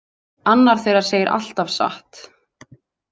Annar þeirra segir alltaf satt.